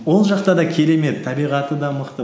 ол жақта да керемет табиғаты да мықты